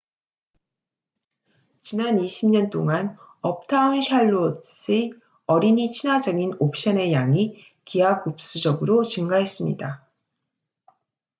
지난 20년 동안 uptown charlotte의 어린이 친화적인 옵션의 양이 기하급수적으로 증가했습니다